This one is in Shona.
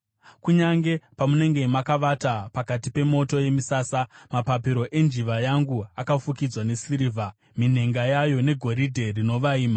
Kunyange pamunenge makavata pakati pemoto yemisasa, mapapiro enjiva yangu akafukidzwa nesirivha, minhenga yayo negoridhe rinovaima.”